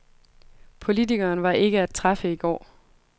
Politikeren var ikke at træffe i går.